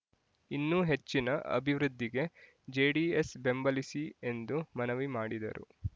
ಇನ್ನೂ ಹೆಚ್ಚಿನ ಅಭಿವೃದ್ಧಿಗೆ ಜೆಡಿಎಸ್ ಬೆಂಬಲಿಸಿ ಎಂದು ಮನವಿ ಮಾಡಿದರು